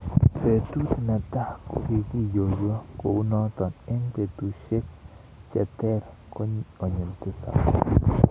Betut ne tai, kokioiywa kou noot ,eng betusiek che teer konyil tisab